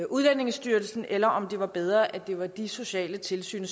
udlændingestyrelsen eller om det var bedre at det var de sociale tilsyn